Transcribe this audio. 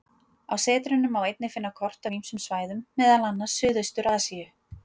Á setrinu má einnig finna kort af ýmsum svæðum, meðal annars Suðaustur-Asíu.